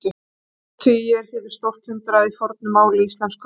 tólf tugir hétu stórt hundrað í fornu máli íslensku